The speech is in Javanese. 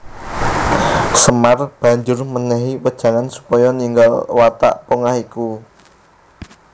Semar banjur mènèhi wejangan supaya ninggal watak pongah iku